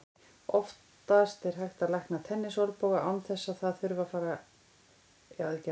Oftast er hægt að lækna tennisolnboga án þess að það þurfi að gera aðgerð.